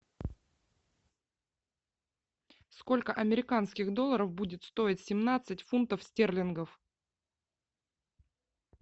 сколько американских долларов будет стоить семнадцать фунтов стерлингов